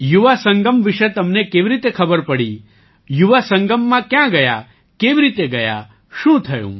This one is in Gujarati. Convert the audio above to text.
યુવા સંગમ વિશે તમને કેવી રીતે ખબર પડી યુવા સંગમમાં કયા ગયા કેવી રીતે ગયા શું થયું